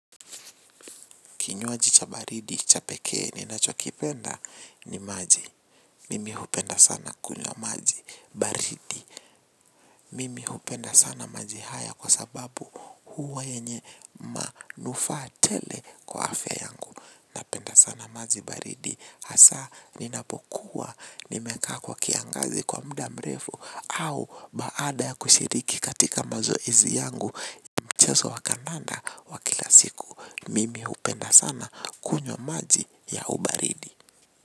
Kinywaji cha baridi, cha pekee, ninacho kipenda ni maji. Mimi hupenda sana kunywa maji baridi. Mimi hupenda sana maji haya kwa sababu huwa yenye manufaa tele kwa afya yangu. Napenda sana maji baridi. Asa, ninapokuwa, nimekaa kwa kiangazi kwa muda mrefu au baada ya kushiriki katika mazoezi yangu mchezo wa kandanda wa kila siku. Mimi hupenda sana kunywa maji ya ubaridi.